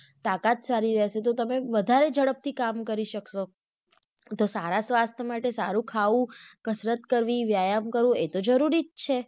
તાકાત સારી રહેશે તો તમે વધારે ઝડપ થી કામ કરી સક્સો તો સારા સ્વાસ્થ માટે સારું ખાવું, કસરત કરવી, વ્યાયામ કરવું એ તો જરૂરી જ છે.